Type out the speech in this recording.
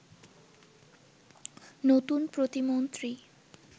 নতুন প্রতিমন্ত্রী